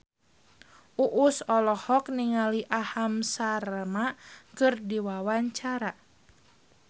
Uus olohok ningali Aham Sharma keur diwawancara